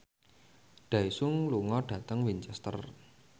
Daesung lunga dhateng Winchester